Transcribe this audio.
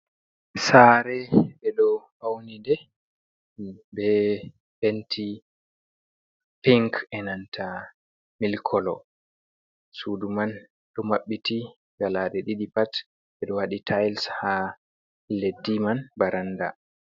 Sare be do faunide be penti pinc enanta milkolo, sudu man do mabbiti galade di pat be do wadi tiles ha leddi man baranda.